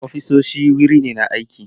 Ofisoshi wuri ne na aiki.